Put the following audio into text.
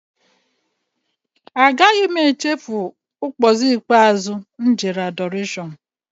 Ụbọchị ikpeazụ m jere Adọrashọn adịghị nchefu.